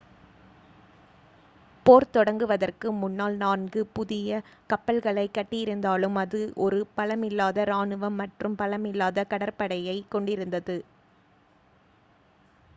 போர் தொடங்குவதற்கு முன்னால் நான்கு four புதிய கப்பல்களைக் கட்டியிருந்தாலும் அது ஒரு பலமில்லாத ராணுவம் மற்றும் பலமில்லாத கடற்படையையே கொண்டிருந்தது